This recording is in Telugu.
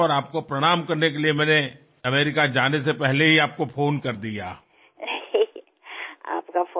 మీకు ప్రణామాలు తెలపాలనే అమెరికా వెళ్ళే ముందరే నేను మీకు ఫోన్ చేశాను